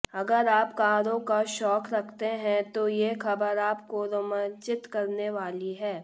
अगर आप कारों का शौक रखते हैं तो ये खबर आपको रोमांचित करने वाली है